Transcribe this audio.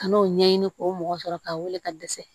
Ka n'o ɲɛɲini k'o mɔgɔ sɔrɔ k'a weele ka dɛsɛ